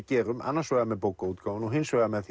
gerum annars vegar með bókaútgáfunni og hins vegar með